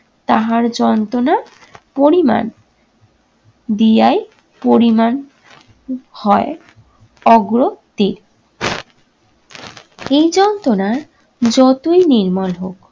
তাহার যন্ত্রনার পরিমাণ দিয়াই পরিমাণ উম হয় অগ্রতির। এই যন্ত্রনা যতই নির্মল হোক